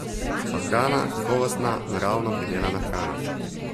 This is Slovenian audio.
Pa hrana, kakovostna, naravno pridelana hrana.